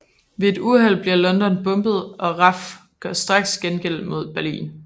Ved et uheld bliver London bombet og RAF gør straks gengæld mod Berlin